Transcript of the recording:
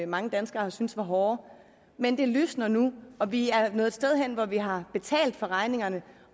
mange danskere har syntes var hårde men det lysner nu og vi er nået et sted hen hvor vi har betalt regningerne